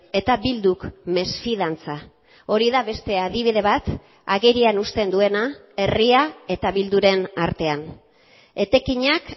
eta bilduk mesfidantza hori da beste adibide bat agerian uzten duena herria eta bilduren artean etekinak